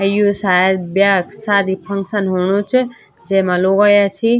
अ यु सायद ब्याक सादी क फंक्शन हूणू च जैमा लोग अयां छि।